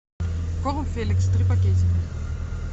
корм феликс три пакетика